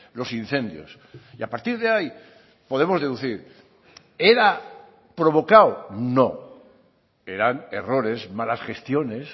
los incendios y a partir de ahí podemos deducir era provocado no eran errores malas gestiones